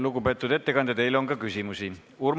Lugupeetud ettekandja, teile on ka küsimusi!